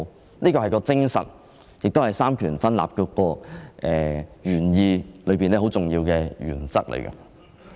這便是《條例》的精神，亦是三權分立的原意，是很重要的原則。